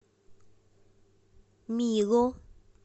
мило